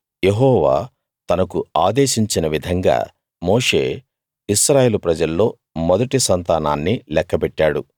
యెహోవా తనకు ఆదేశించిన విధంగా మోషే ఇశ్రాయేలు ప్రజల్లో మొదటి సంతానాన్ని లెక్కపెట్టాడు